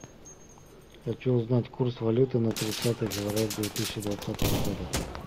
хочу узнать курс валюты на тридцатое февраля две тысячи двадцатого года